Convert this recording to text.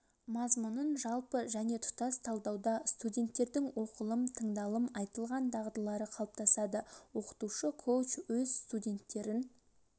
мазмұнын жалпы және тұтас талдауда студенттердің оқылым тыңдалым айтылым дағдылары қалыптасады оқытушы коуч өз студенттерін